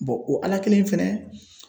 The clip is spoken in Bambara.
bɔn o ala kelen fɛnɛ